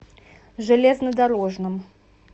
железнодорожном